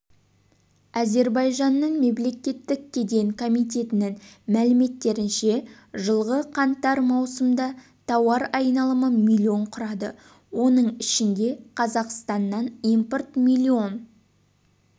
әзербайжанның мемлекеттік кеден комитетінің мәліметтерінше жылғы қаңтар-маусымда тауар айналымы миллион құрады оның ішінде қазақстаннан импорт миллион